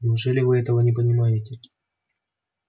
неужели вы этого не понимаете